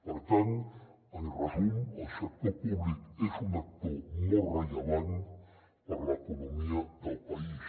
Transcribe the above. per tant en resum el sector públic és un actor molt rellevant per a l’economia del país